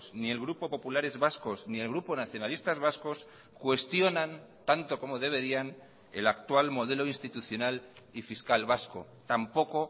ni el grupo populares vascos ni el grupo nacionalistas vascos cuestionan tanto como deberían el actual modelo institucional y fiscal vasco tampoco